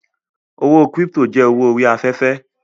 Owó kírípítò jẹ́ owó orí afẹ́fẹ́